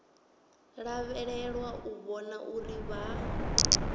lavhelelwa u vhona uri vha